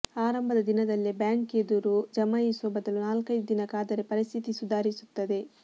ಆರಂಭದ ದಿನದಲ್ಲೇ ಬ್ಯಾಂಕ್ ಎದುರು ಜಮಾಯಿಸುವ ಬದಲು ನಾಲ್ಕೈದು ದಿನ ಕಾದರೆ ಪರಿಸ್ಥಿತಿ ಸುಧಾರಿಸುತ್ತದೆ